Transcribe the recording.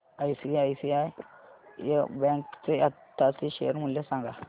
ICICI bank चे आताचे share मूल्य सांगा